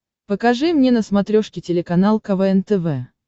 покажи мне на смотрешке телеканал квн тв